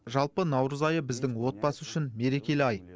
жалпы наурыз айы біздің отбасы үшін мерекелі ай